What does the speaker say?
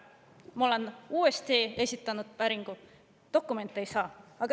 Ma olen teinud uuesti päringu, aga dokumente ei saa.